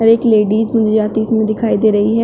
एक लेडिस मुझे आती इसमें दिखाई दे रही है।